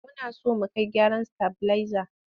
Muna so mu kai gyaran stabilizer.